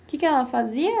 O que que ela fazia?